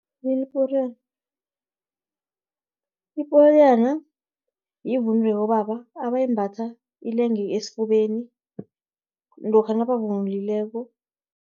Iporiyana, yivunulo yabobaba, abayimbatha ilenge esifubeni, lokha nabavunulileko.